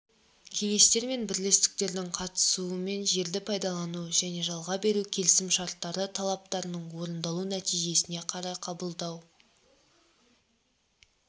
кеңестер мен бірлестіктердің қатысуымен жерді пайдалану және жалға беру келісім-шарттары талаптарының орындалу нәтижесіне қарай қабылдау